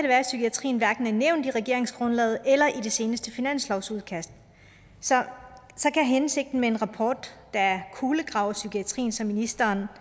være at psykiatrien hverken er nævnt i regeringsgrundlaget eller i det seneste finanslovsudkast så kan hensigten med en rapport der kulegraver psykiatrien som ministeren